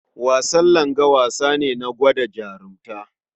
Wasan langa wasa ne gwada jarunta.